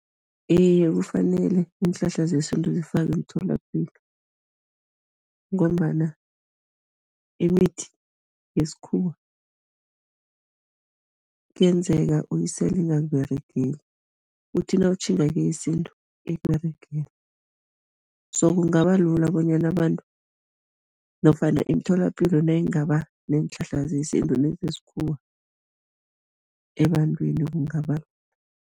Iye, kufanele iinhlahla zesintu zifakwe emtholapilo ngombana imithi yesikhuwa kuyenzeka uyisele ingakUberegeli uthi nawutjhinga keyesintu ikUberegele, so kungaba lula bonyana abantu nofana imitholapilo nayingaba neenhlahla nezesintu nezesikhuwa, ebantwini kungaba